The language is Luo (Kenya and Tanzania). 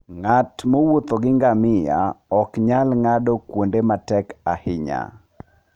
Ng'at mowuotho gi ngamia ok nyal ng'ado kuonde matek ahinya.